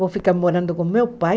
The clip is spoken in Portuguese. Vou ficar morando com meu pai.